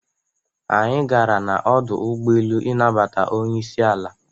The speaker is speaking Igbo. Anyi gara na-ọdu ụgbọelụ ịnabata ọnyeisi ala.